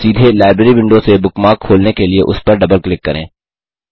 सीधे library window से bookmark खोलने के लिए उस पर डबल क्लिक करें